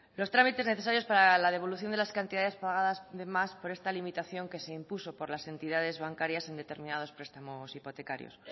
los trámites necesarios para la devolución de las cantidades pagadas de más por esta limitación que se impuso por la entidades bancarias en determinados prestamos hipotecarios